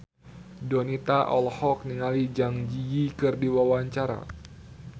Donita olohok ningali Zang Zi Yi keur diwawancara